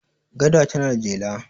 gada tana da jela